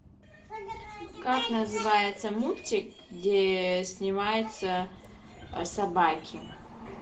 как называется мультик где снимаются собаки